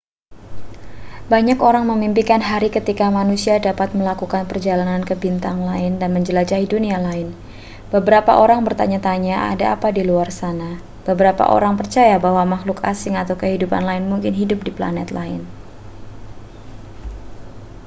banyak orang memimpikan hari ketika manusia dapat melakukan perjalanan ke bintang lain dan menjelajahi dunia lain beberapa orang bertanya-tanya ada apa di luar sana beberapa orang percaya bahwa makhluk asing atau kehidupan lain mungkin hidup di planet lain